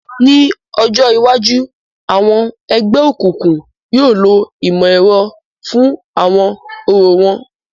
Ni ọjọ iwaju, awọn ẹgbẹokunkun yóò lo imọ-ẹrọ fun awọn orȯ wọn